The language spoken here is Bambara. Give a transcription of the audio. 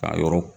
K'a yɔrɔ